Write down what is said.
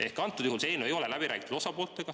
Ehk praegusel juhul see eelnõu ei ole osapooltega läbi räägitud.